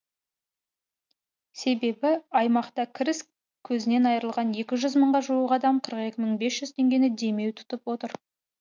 себебі аймақта кіріс көзінен айырылған екі жүз мыңға жуық адам қырық екі мың бес жүз теңгені демеу тұтып отыр